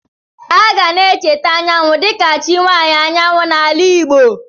A ga na-echeta Anyanwụ dịka chi nwaanyị anyanwụ n'ala Igbo.